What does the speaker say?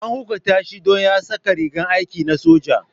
An hukunta shi don ya saka rigar aiki na soja.